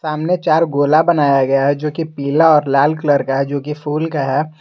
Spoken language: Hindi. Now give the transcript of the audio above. सामने चार गोल बनाया गया है जोकि पीला और लाल कलर का जोकि फुल का है।